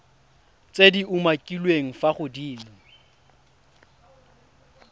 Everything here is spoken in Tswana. tse di umakiliweng fa godimo